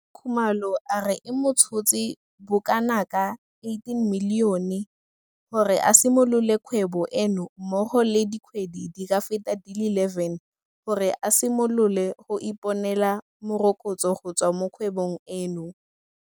Khumalo a re e mo tshotse bokanaka R18 milione gore a simolole kgwebo eno mmogo le dikgwedi di ka feta di le 11 gore a simolole go ka iponela morokotso go tswa mo kgwebong eno.